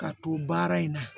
Ka to baara in na